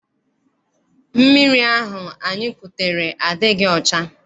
Mmiri ahụ anyị kutere adịghị ọcha.